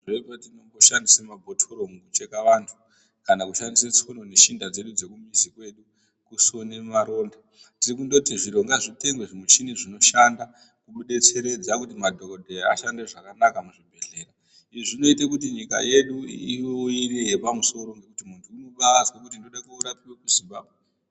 Tine patinomboshandise mabhotoro mukucheka vantu kana kushandise tsono neshinda zvedu dzekumizi kwedu kusona maronda tirikundoti zviro ngazvitengwe zvimuchini zvinoshanda kudetseredza kuti madhokodheya ashande zvakanaka muzvibhedhlera, izvi zvinoita kuti nyika yedu ive iri yepamusoro kuti muntu unenge azwa kuti ndoda kurapiwe muZimbabwe.